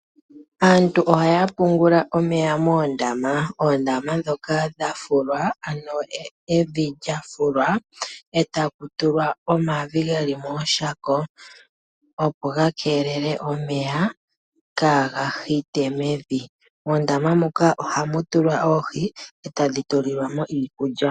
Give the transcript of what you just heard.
Aantu ohaya pungula omeya moondama, ndhono dha fulwa, ano evi lwa fulwa etamu tulwa omavi geli mooshako, opo ga keelele omeya kaaga hite mevi. Moondama muka ohamu tulwa oohi, e tadhi tulilwamo iikulya.